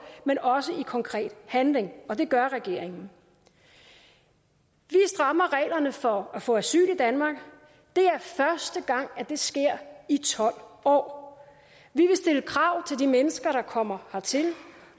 men også i konkret handling og det gør regeringen vi strammer reglerne for at få asyl i danmark det er første gang det sker i tolv år vi vil stille krav til de mennesker der kommer hertil